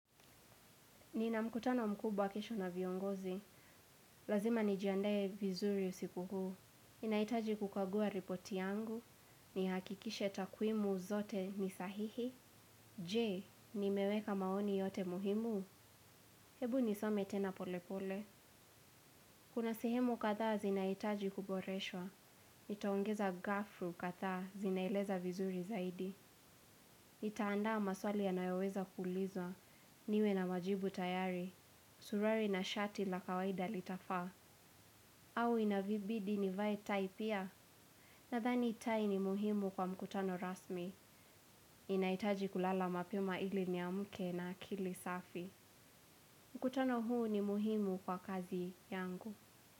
Nina mkutano mkubwa kesho na viongozi. Lazima nijiandae vizuri usiku huu. Ninahitaji kukagua ripoti yangu. Nihakikishe takwimu zote ni sahihi. Je, nimeweka maoni yote muhimu. Hebu nisome tena polepole. Kuna sehemu kadhaa zinahitaji kuboreshwa. Nitaongeza gafu kadhaa zinaeleza vizuri zaidi nitaandaa maswali yanayoweza kulizwa. Niwe na majibu tayari. Suruari na shati la kawaida litafaa. Au inavibidi nivae tai pia? Nadhani tai ni muhimu kwa mkutano rasmi. Ninahitaji kulala mapema ili niamke na akili safi. Mkutano huu ni muhimu kwa kazi yangu.